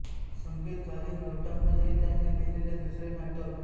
संगीत घालीन लोटांगण हे त्यांनी लिहिलेले दुसरे नाटक